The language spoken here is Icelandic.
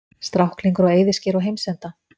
Stráklingur á eyðiskeri á heimsenda?